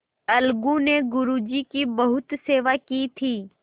अलगू ने गुरु जी की बहुत सेवा की थी